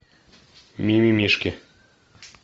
мимимишки